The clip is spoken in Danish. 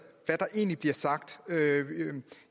der egentlig bliver sagt